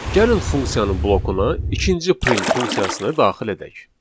Gəlin funksiyanın blokuna ikinci print funksiyasını daxil edək.